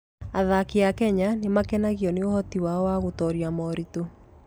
Athaki a Kenya nĩ makenagio nĩ ũhoti wao wa gũtooria moritũ.